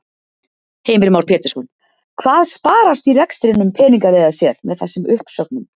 Heimir Már Pétursson: Hvað sparast í rekstrinum peningalega séð með þessum uppsögnum?